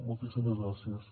moltíssimes gràcies